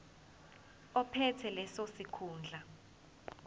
ophethe leso sikhundla